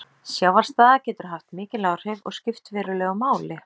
Sjávarstaða getur haft mikil áhrif og skipt verulegu máli.